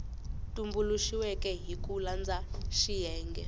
tumbuluxiweke hi ku landza xiyenge